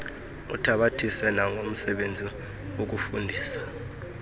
uthabathise nangomsebenzi wokufundisa